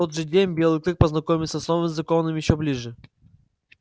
в тот же день белый клык познакомился с новым законом ещё ближе